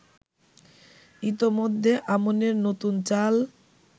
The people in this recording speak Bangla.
ইতোমধ্যে আমনের নতুন চাল